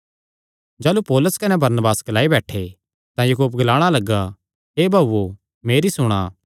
जाह़लू पौलुस कने बरनबास ग्लाई बैठे तां याकूब ग्लाणा लग्गा हे भाऊओ मेरी सुणा